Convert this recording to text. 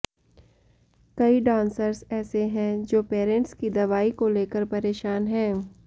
कई डांसर्स ऐसे हैं जो पैरेंट्स की दवाई को लेकर परेशान हैं